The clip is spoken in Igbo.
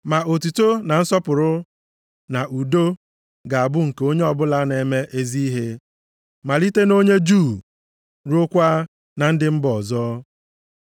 Ma otuto na nsọpụrụ na udo ga-abụ nke onye ọbụla na-eme ezi ihe, malite nʼonye Juu ruokwa na ndị mba ọzọ.